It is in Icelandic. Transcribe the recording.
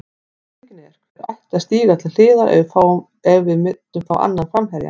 Spurningin er, hver ætti að stíga til hliðar ef við myndum fá annan framherja?